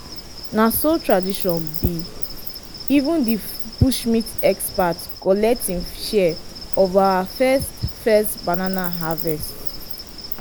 na so tradition be! even di bush meat expert collect him share of our first first banana harvest